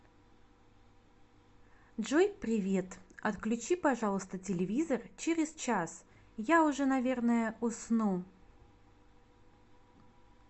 джой привет отключи пожалуйста телевизор через час я уже наверное усну